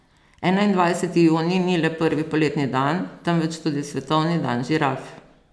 Enaindvajseti junij ni le prvi poletni dan, temveč tudi svetovni dan žiraf.